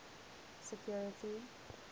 security